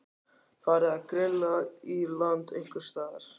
Heimir: Farið að grilla í land einhvers staðar?